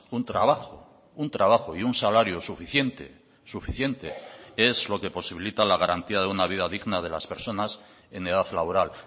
un trabajo un trabajo y un salario suficiente suficiente es lo que posibilita la garantía de una vida digna de las personas en edad laboral